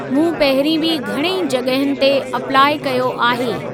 मूं पहिरीं बि घणेई जग॒हियुनि ते अप्लाई कयो आहे।